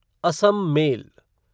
Assam mail